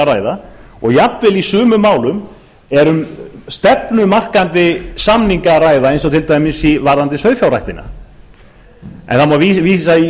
ræða og jafnvel í sumum málum er um stefnumarkandi samninga að ræða eins og til dæmis varðandi sauðfjárræktina en í